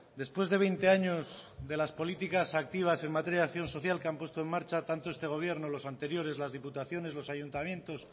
después de veinte años de las políticas activas en materia de acción social que han puesto en marcha tanto este gobierno los anteriores las diputaciones los ayuntamientos